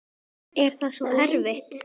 Er það svo erfitt?